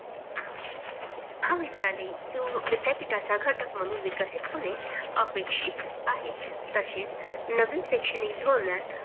महाविद्यालयाने किंव विद्यापीठाचा घटक म्हूणन विकसित होणे अपेक्षित आहे. तसेच नवीन शैक्षणिक धोरणात